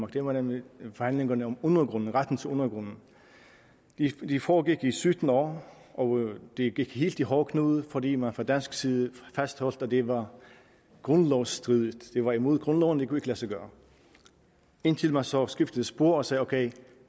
det var nemlig forhandlingerne om retten til undergrunden de foregik i sytten år og de gik helt i hårdknude fordi man fra dansk side fastholdt at det var grundlovsstridigt at det var imod grundloven det kunne lade sig gøre indtil man så skiftede spor og sagde ok